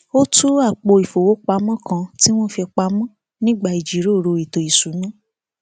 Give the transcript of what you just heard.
ó tú apò ìfowópamọ kan tí wọn fì pamọ nígbà ìjíròrò ètò ìṣúná